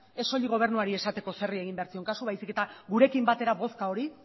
ez soilik gobernuari esateko zeri egin behar zion kasu baizik eta gurekin batera bozka hori